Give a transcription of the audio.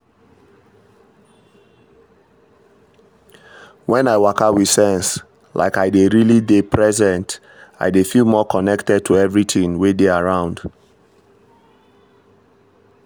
when i waka with sense like i dey really dey present i dey feel more connected to everything wey dey around.